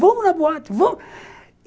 Vamos na boate, vamos?